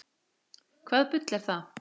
Hvaða bull er það?